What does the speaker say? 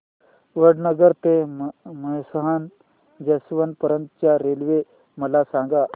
वडनगर ते मेहसाणा जंक्शन पर्यंत च्या रेल्वे मला सांगा